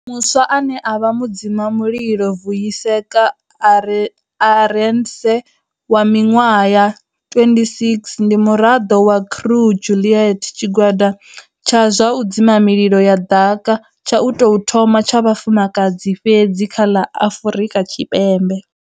Muswa ane a vha mudzimamulilo, Vuyiseka Arendse wa miṅwaha ya 26 ndi muraḓo wa Crew Juliet, tshigwada tsha zwa u dzima mililo ya ḓaka tsha u tou thoma tsha vhafumakadzi fhedzi kha ḽa Afrika Tshipembe.